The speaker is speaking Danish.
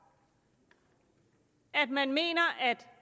at man mener at